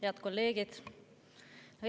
Head kolleegid!